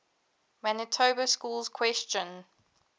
manitoba schools question